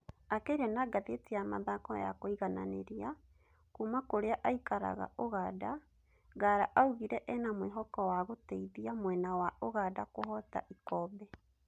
Akĩaria na ngathĩti ya Mathako ya Kũigananĩria, kuma kũrĩa aikaraga Ùganda, Ngara augire ena mwĩhoko wa gũteithia mwena wa Ùganda kuhota ikombe.